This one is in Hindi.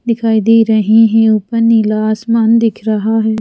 दिखाई दे रही हैं ऊपर नीला आसमान दिख रहा है।